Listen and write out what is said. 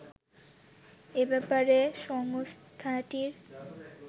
এ ব্যাপারে সংস্থাটির